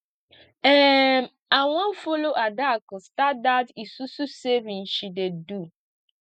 um i wan follow adaku start dat isusu saving she dey do